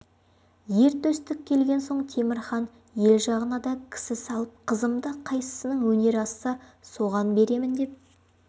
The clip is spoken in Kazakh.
ер төстік келген соң темір хан ел жағына да кісі салып қызымды қайсысының өнері асса соған беремін деп